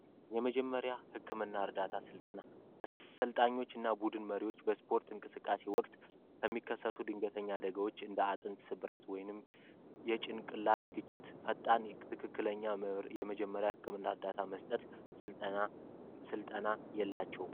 የመጀመሪያ ደረጃ የህክምና ስልጠና አሰልጣኞች በስፖርት ወቅት ለሚከሰቱ ድንገተኛ አደጋዎች አጥንት ስብራቶሪ ጭንቅላት ግጭት ፈጣን ትክክለኛ የመጀመሪያ እርዳታ መስጠት ስልጠና የላቸውም።